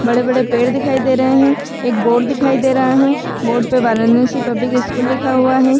बड़े-बड़े पेड़ दिखाई दे रहें हैं। एक बोर्ड दिखाई दे रहा है। बोर्ड पे वाराणसी पब्लिक स्कूल लिखा हुआ है।